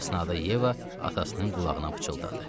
Bu əsnada Yeva atasının qulağına pıçıldadı.